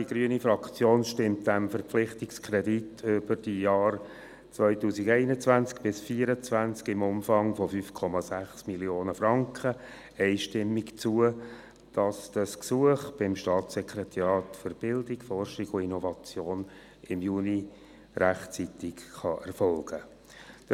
Die grüne Fraktion stimmt diesem Verpflichtungskredit über die Jahre 2021–2024, im Umfang von 5,6 Mio. Franken, einstimmig zu, damit das Gesuch an das Staatssekretariat für Bildung, Forschung und Innovation (SBFI) im Juni 2019 rechtzeitig erfolgen kann.